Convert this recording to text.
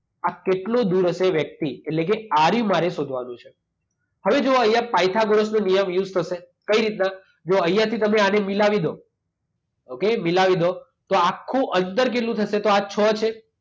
આ કેટલો દૂર હશે વ્યક્તિ? એટલે કે આ રહ્યું મારે શોધવાનું છે. હવે જુઓ અહીંયા પાયથાગોરસનો નિયમ યુઝ થશે? કઈ રીતના? જુઓ અહીંયાથી તમે આને મિલાવીદો. ઓકે મિલાવી દો. તો આખું અંદર કેટલું થશે? તો આ છ છે.